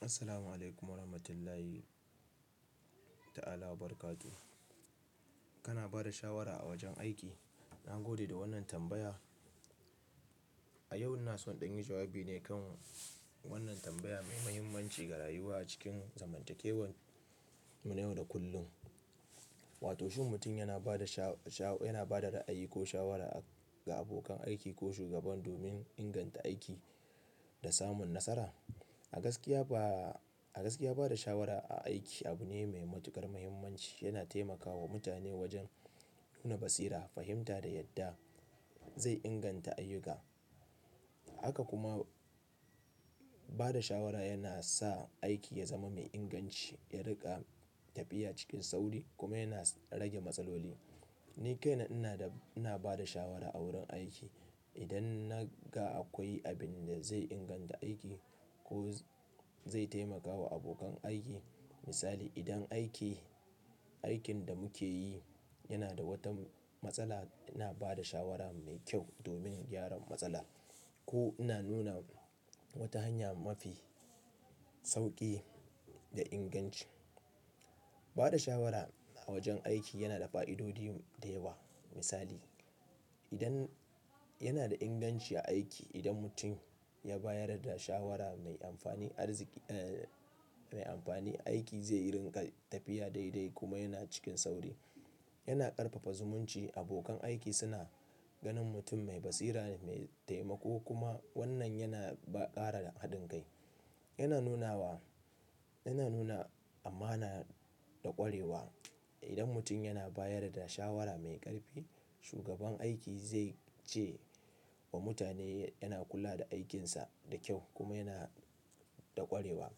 Assalamualaikum warahmatullahi ta'ala wabarakatuhu. Kana bada shawara a wajen aiki? Na gode da wannan tambaya. Ni yau ina so in ɗan yi jawabi ne kan wannan tambaya mai muhimmanci ga rayuwa cikin zamantakewar mu yau da kullum. Wato shin mutum yana bada sha-sha'o, yana bada ra'ayi ko shawara ga abokan aiki ko shugaba domin inganta aiki da samun nasara? A gaskiya ba, a gaskiya bada shawara a aiki abu ne mai matuƙar muhimmanci. Yana taimakawa mutane wajen nuna basira, fahimta da yadda zai inganta ayyuka. Haka kuma bada shawara yana sa aiki ya zama mai inganci, ya riƙa tafiya cikin sauri kuma yana rage matsaloli. Ni kaina ina da, ina bada shawara a wurin aiki. Idan na ga akwai abin da zai inganta aiki ko zai taimakawa abokan aiki. Misali, idan aiki, aikin da muke yi yana da wata matsala, ina bada shawara mai kyau domin gyaran matsala ko ina nuna wata hanya mafi sauƙi da inganci. Bada shawara a wajen aiki yana da fa'idodi da yawa. Misali, idan yana da inganci a aiki idan mutum ya bayar da shawara mai amfani arziki mai amfani, aiki zai rinƙa tafiya daidai kuma yana cikin sauri. Yana ƙarfafa zumunci, abokan aiki suna ganin mutum mai basira ne, mai taimako kuma wannan yana ba ƙara haɗin kai. Yana nunawa, yana nuna amana da ƙwarewa. Idan mutum yana bayar da shawara mai ƙarfi, shugaban aiki zai ce wa mutane yana kula da aikinsa da kyau kuma yana da ƙwarewa.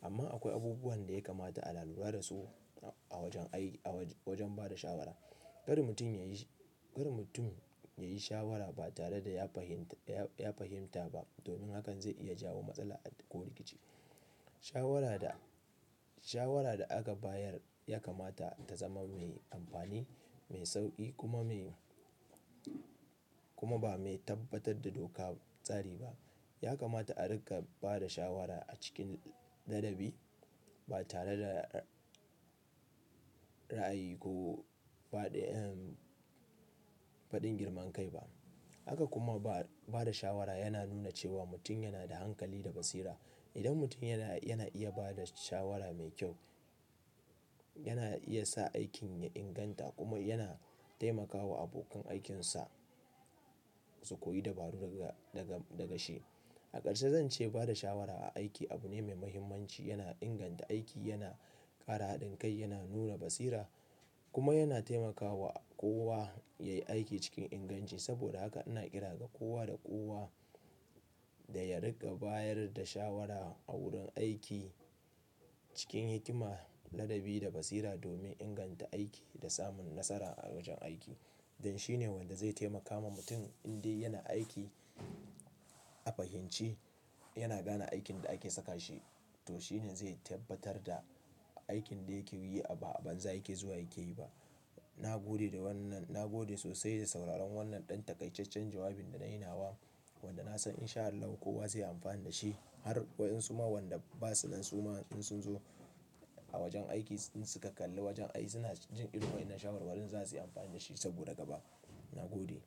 Amma akwai abubuwan da ya kamata ana lalura da su a wajen aiki, a wajen bada shawara. Kar mutum ya yi, kar mutum ya yi shawara ba tare da ya fahimta, ya fahimta ba domin hakan zai iya jawo matsala ko rikici. Shawara da, shawara da aka bayar ya kamata ta zama mai amfani, mai sauƙi kuma mai, kuma ba mai tabbatar da doka tsari ba. Ya kamata a riƙa bada shawara a cikin ladabi ba tare da ra'ayi ko faɗin girman kai ba. Haka kuma ba, bada shawara yana nuna cewa mutum yana da hankali da basira. Idan mutum yana, yana iya bada shawara mai kyau, yana iya sa aikin ya inganta kuma yana taimakawa abokan aikinsa su koyi dabaru daga, daga, daga shi. A ƙarshe zan ce bada shawara a aiki abu ne mai muhimmanci. Yana inganta aiki, yana ƙara haɗin kai, yana nuna basira kuma yana taimakawa kowa ya yi aiki cikin inganci. Saboda haka ina ƙira ga kowa da kowa da ya riƙa bayar da shawara a wurin aiki cikin hikima, ladabi da basira domin inganta aiki da samun nasara a wajen aiki. Dan shi ne wanda zai taimaka ma mutum in dai yana aiki a fahimci, yana gane aikin da ake saka shi to shi ne zai tabbatar da aikin da yake yi ba a banza yake zuwa yake yi ba. Na gode da wannan, na gode sosai da sauraron wannan ɗan takaiikkacen jawabin da nayi nawa wanda na san in sha Allah kowa zai yi amfani da shi. Har waɗansu ma waɗanda ba su nan su ma in sun zo a wajen aiki in su ka kalli wajen aiki suna jin irin wa'inan shawarwarin za su yi amfani da shi saboda gaba. Na gode.